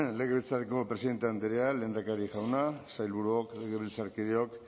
legebiltzarreko presidente andrea lehendakari jauna sailburuok legebiltzarkideok